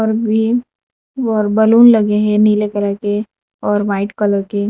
ये बलून लगे हैं नीले कलर के और व्हाइट कलर के।